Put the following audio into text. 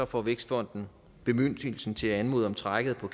får vækstfonden bemyndigelsen til at anmode om trækket på